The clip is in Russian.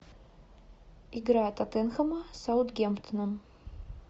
игра тоттенхэма с саутгемптоном